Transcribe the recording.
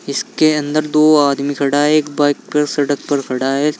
इसके अंदर दो आदमी खड़ा है एक बाइक पर सड़क पर खड़ा है।